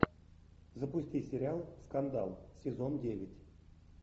запусти сериал скандал сезон девять